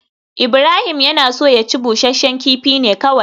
Ibrahim ya so ya ci busasshen kifi ne kawai